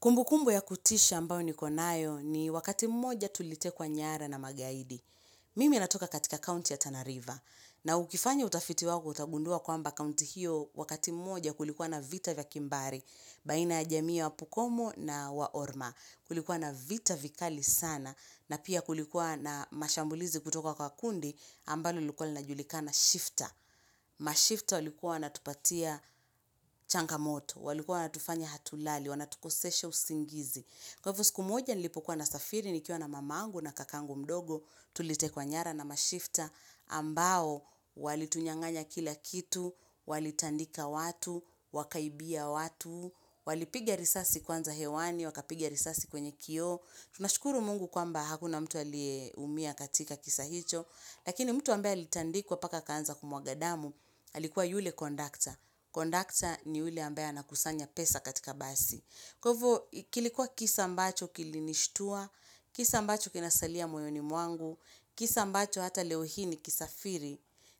Kumbu kumbu ya kutisha ambao niko nayo ni wakati mmoja tulitekwa nyara na magaidi. Mimi natoka katika county ya Tana River na ukifanya utafiti wako utagundua kwamba county hiyo wakati mmoja kulikuwa na vita vya kimbari. Baina ya jamii wa pokomo na wa orma kulikuwa na vita vikali sana na pia kulikuwa na mashambulizi kutoka kwa kundi ambalo lilikuwa linajulikana shifter. Mashifta walikuwa wanatupatia changa moto, walikuwa wanatufanya hatulali, wanatukosesha usingizi. Kwa hivo siku moja nilipokuwa na safiri ni kiwa na mamangu na kakangu mdogo, tulitekwa nyara na mashifta ambao walitunyang'anya kila kitu, walitandika watu, wakaibia watu, walipigia risasi kwanza hewani, wakapigia risasi kwenye kioo. Tunashukuru mungu kwamba hakuna mtu alie umia katika kisa hicho Lakini mtu ambaye alitandikwa paka aka anza kumwaga damu alikuwa yule kondakta. Kondakta ni yule ambaye anakusanya pesa katika basi kwa hiv kilikuwa kisa ambacho kilinishtua Kisa ambacho kinasalia moyoni mwangu Kisa ambacho hata leo hii ni kisafiri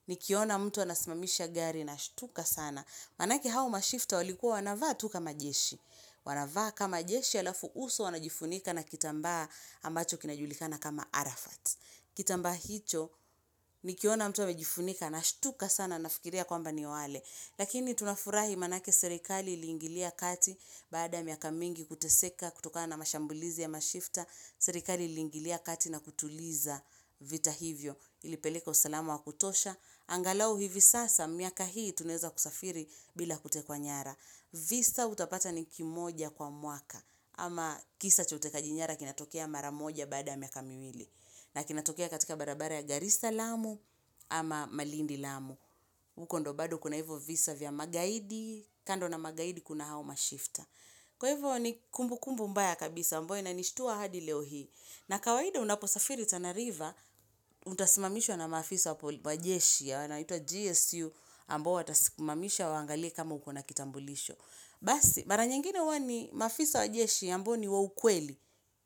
Nikiona mtu anasimamisha gari nashtuka sana. Maanake hao mashifta walikuwa wanavaa tu kama jeshi Wanavaa kama jeshi alafu uso wanajifunika na kitambaa ambacho kinajulikana kama arafat. Kitambaa hicho nikiona mtu amejifunika nashtuka sana nafikiria kwamba ni wale. Lakini tunafurahi maanake serikali ili ingilia kati baada ya miaka mingi kuteseka kutokana mashambulizi ya mashifta. Serikali ili ingilia kati na kutuliza vita hivyo ilipeleka usalamu wa kutosha. Angalau hivi sasa miaka hii tunaeza kusafiri bila kutekwa nyara. Visa utapata ni kimoja kwa mwaka ama kisa cha utejakaji nyara kina tokea mara moja baada ya miaka miwili na kinatokea katika barabara ya Garissa Lamu ama malindi lamu. Uko ndo baado kuna hivo visa vya magaidi kando na magaidi kuna hao mashifta Kwa hivyo ni kumbu kumbu mbaya kabisa ambayo inanishtuwa hadi leo hii na kawaida unaposafiri Tana River Utasimamishwa na maafisa po wa jeshi wanaitwa GSU ambao watasimamisha waangalie kama ukona kitambulisho Basi, mara nyingine huwa ni maafisa wa jeshi ambao ni wa ukweli,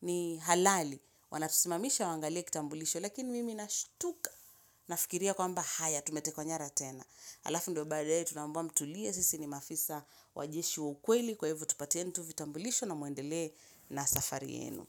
ni halali Wanatusimamisha wangalie kitambulisho Lakini mimi nashutka nafikiria kwamba haya tumetekwa nyara tena Halafu ndo baadaye tuna ambiwa mtulie sisi ni maafisa wa jeshi wa ukweli Kwa hivo tupatieni tu vitambulisho na muendele na safari yenu.